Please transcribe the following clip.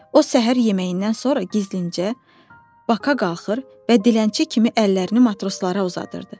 O səhər yeməyindən sonra gizlincə baka qalxır və dilənçi kimi əllərini matroslara uzadırdı.